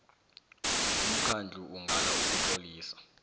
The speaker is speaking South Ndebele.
umkhandlu ungala ukutlolisa